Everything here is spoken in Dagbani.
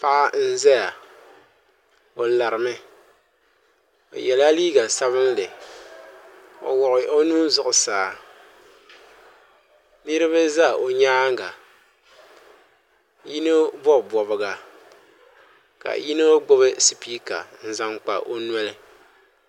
Paɣa n ʒɛya o larimi o yɛla liiga sabinli o wuɣi o nuu zuɣusaa niraba ʒɛ o nyaanga yino bob bobga ka yino gbubi spiika n zaŋ kpa o noli